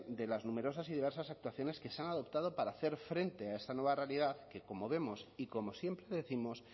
de las numerosas y diversas actuaciones que se han adoptado para hacer frente a esta nueva realidad que como vemos y como siempre décimos